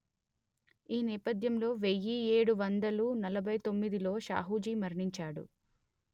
ఈ నేపథ్యంలో వెయ్యి ఏడు వందలు నలభై తొమ్మిదిలో షాహూజీ మరణించాడు